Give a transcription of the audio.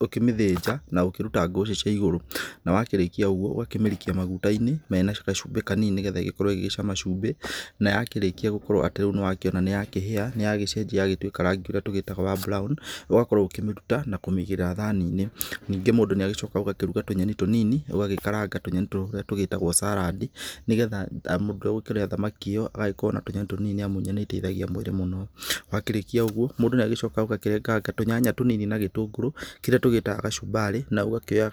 ũkĩmĩthĩnja na ũkĩruta ngũcĩ cia igũru, na wakĩrĩkia ũguo ũgakĩmĩrikia maguta-inĩ mena gacumbĩ kanini nĩ getha ĩgagĩkorwo ĩgĩgĩcama cumbĩ. Na yakĩrĩkia gũkorwo atĩ riu nĩ wakĩona nĩ ya kĩhĩa negacenjia negakĩgĩa rangi ũrĩa tũgĩtaga wa brown, ũgakorwo ũkĩmĩruta na kũmĩigĩrĩra thani-inĩ. Nĩngĩ mũndũ nĩ agĩcokaga ũgakĩruga tũnyeni tũnini, ũgagĩkaranga tũnyeni tũrĩa tũgĩtagwo salad. Nĩ getha mũndũ ũrĩa ũgũkĩrĩa thamaki ĩyo agakorwo na tũnyeni tũnini amu nyeni nĩ iteithagia mwĩrĩ mũno. Wakĩrĩkia ũguo mũndũ nĩ agĩcokaga ũgakĩrenganga tũnyanya tũnini na gĩtũngũrũ kĩrĩa tũgĩtaga gacumbari na ũgakĩoya